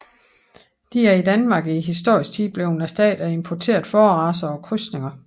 De er i Danmark i historisk tid blevet erstattet af importerede fåreracer og krydsninger